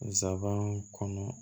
Nsaban kɔnɔ